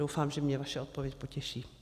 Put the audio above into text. Doufám, že mě vaše odpověď potěší.